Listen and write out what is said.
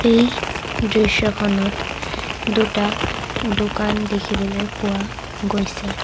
এই দৃশ্যখনত দুটা দোকান দেখিবলৈ পোৱা গৈছে।